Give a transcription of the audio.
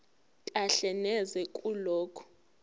kahle neze kulokho